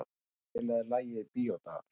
Sakarías, spilaðu lagið „Bíódagar“.